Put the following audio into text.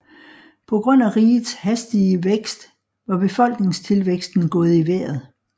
På grund af rigets hastige værkst var befolkningstilvæksten gået i vejret